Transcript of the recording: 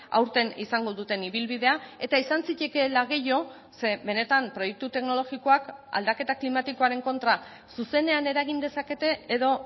aurten izango duten ibilbidea eta izan zitekeela gehiago ze benetan proiektu teknologikoak aldaketa klimatikoaren kontra zuzenean eragin dezakete edo